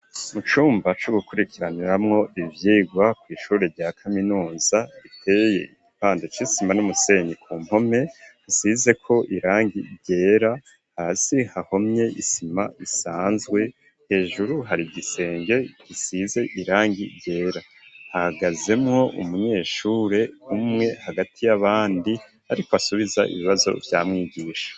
Mu cumba co gukurikiraniramwo ivyigwa kw'ishure rya kaminuza biteye igipande c'isima n'umusenyi ,ku mpome hasizeko irangi ryera, hasi hahomye isima isanzwe, hejuru hari igisenge gisize irangi ryera, hahagazemwo umunyeshure umwe hagati y'abandi ariko asubiza ibibazo vya mwigisha.